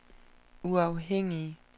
uafhængige